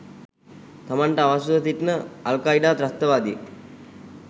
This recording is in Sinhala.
තමන්ට අවශ්‍යව සිටින අල්කයීඩා ත්‍රස්තවාදියෙක්